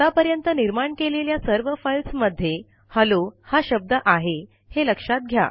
आतापर्यंत निर्माण केलेल्या सर्व फाइल्स मध्ये हॅलो हा शब्द आहे हे लक्षात घ्या